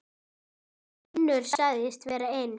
Finnur sagðist vera eins.